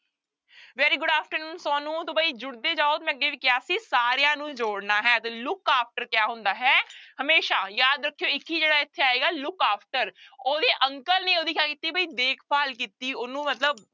Very good afternoon ਸੋਨੂੰ ਤਾਂ ਬਈ ਜੁੜਦੇ ਜਾਓ ਤੇ ਮੈਂ ਅੱਗੇ ਵੀ ਕਿਹਾ ਸੀ ਸਾਰਿਆਂ ਨੂੰ ਜੋੜਨਾ ਹੈ ਤਾਂ look after ਕਿਆ ਹੁੰਦਾ ਹੈ ਹਮੇਸ਼ਾ, ਯਾਦ ਰੱਖਿਓ ਇੱਕ ਹੀ ਜਿਹੜਾ ਇੱਥੇ ਆਏਗਾ look after ਉਹਦੇ uncle ਨੇ ਉਹਦੀ ਕਿਆ ਕੀਤੀ ਬਈ ਦੇਖਭਾਲ ਕੀਤੀ, ਉਹਨੂੰ ਮਤਲਬ